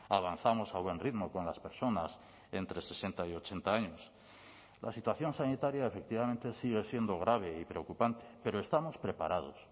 avanzamos a buen ritmo con las personas entre sesenta y ochenta años la situación sanitaria efectivamente sigue siendo grave y preocupante pero estamos preparados